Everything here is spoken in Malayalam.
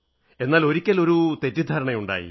എന്നാൽ ഒരിക്കൽ ഒരു തെറ്റിദ്ധാരണയുണ്ടായി